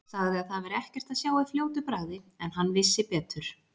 Sagði að það væri ekkert að sjá í fljótu bragði en hann vissi betur.